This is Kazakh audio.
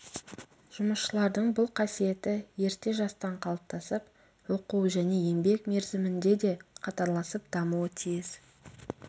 жұмысшылардың бұл қасиеті ерте жастан қалыптасып оқу және еңбек мерзімінде де қатарласып дамуы тиіс